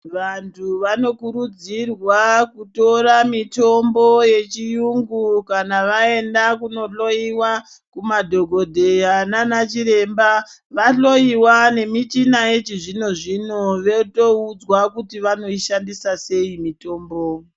Vantu vano kurudzirwa Kutora mitombo ye chiyungu kana vaenda kuno hloyiwa ku madhokodheya nana chiremba va hloyiwa ne michina yechi zvino zvino veito udzwa kuti vanoi shandisa sei mitombo.